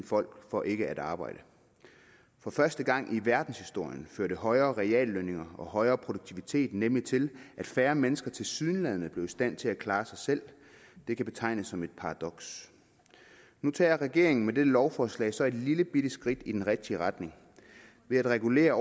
folk for ikke at arbejde for første gang i verdenshistorien førte højere reallønninger og højere produktivitet nemlig til at færre mennesker tilsyneladende blev i stand til at klare sig selv det kan betegnes som et paradoks nu tager regeringen med dette lovforslag så et lillebitte skridt i den rigtige retning ved at regulere